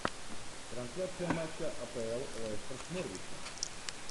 трансляция матча апл лестер с норвичем